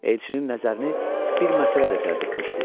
Elçinin nəzərini bir məsələ də cəlb etmişdi.